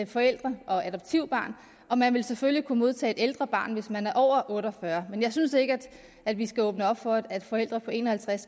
forældre og adoptivbørn og man vil selvfølgelig kunne modtage et ældre barn hvis man er over otte og fyrre år men jeg synes ikke at vi skal åbne op over for at forældre på en og halvtreds